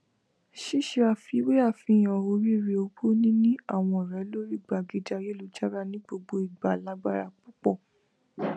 ṣíṣe àfiwé àfihàn oríire owó níní àwọn ọrẹ lórí gbàgede ayélujára ní gbogbo ìgbà lágbára púpọ